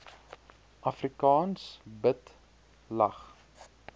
afrikaans bid lag